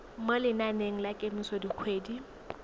mo lenaneng la kemiso dikgwedi